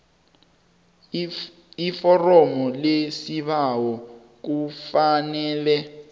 iforomo lesibawo kufanele